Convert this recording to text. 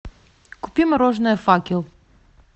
купи мороженое факел